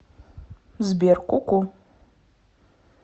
сбер ку ку